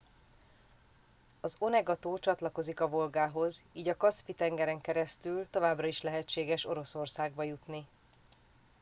az onega tó csatlakozik a volgához így a kaszpi tengeren keresztül továbbra is lehetséges oroszországba jutni